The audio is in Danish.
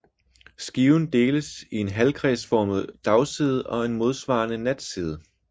Skiven deles i en halvkredsformet dagside og en modsvarende natside